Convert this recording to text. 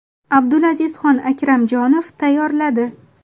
Abdulazizxon Akramjonov tayyorladi.